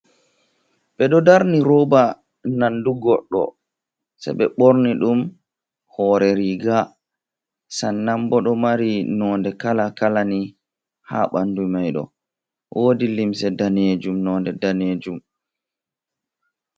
Ɓeɗo darni roba nandu goɗɗo, se ɓe borni ɗum hore riga sannan bo ɗo mari nonde kala kalani ha ɓandu maido, wodi limse danejum nonde danejum.